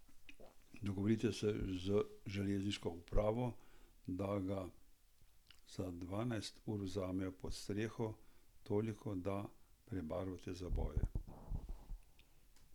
Dogovorite se z železniško upravo, da ga za dvanajst ur vzamejo pod streho, toliko, da prebarvate zaboje.